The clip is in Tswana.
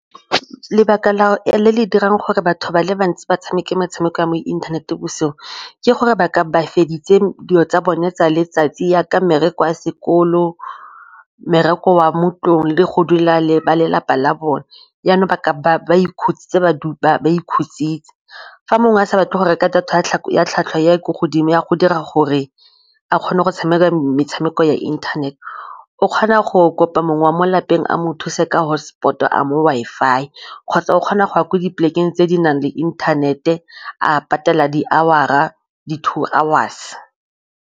Lebaka le le dirang gore batho ba le bantsi ba tshameke metshameko ya mo inthanete bosigo ke gore ba ka ba feditse dilo tsa bone tsa letsatsi jaaka mmereko sekolo, mmereko wa mo ntlong le go dula le ba lelapa la bone yana ba ba ikhuditse. Fa mongwe a sa batle go reka data ya ko godimo ya go dira gore a kgone go tshameka metshameko ya internet o kgona go kopa mongwe wa mo lapeng a mo thuse ka hotspot, a mo Wi-Fi kgotsa o kgona go ya kwa di polekeng tse di nang le inthanete a patela di-hours ga di-two hours.